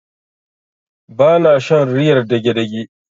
Ba na shan riyar dagedage.